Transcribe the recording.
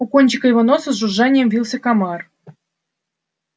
у кончика его носа с жужжанием вился комар